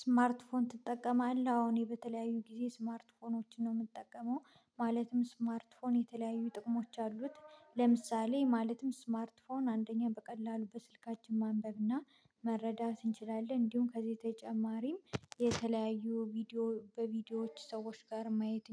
ስማርትፎን ትጠቀማለህ አሁን በተለያዩ ጊዜ ስማርትፎኖችን ነው የምጠቀመው። ማለትም ስማርትፎን የተለያዩ ጥቅሞች አሉት። ለምሳሌ ማለትም ስማርት ፎን አንደኛ በቀላሉ በስልካችን ማንበብና መረዳት እንችላለን እንዲሁም ከዚህ ተጨማሪም የተለያዩ ቪዲዮ በቪዲዮዎች ሰዎች ጋር ማየት